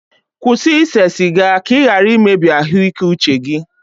kwụsị ise siga ka ị ghara imebi ahụike uche gị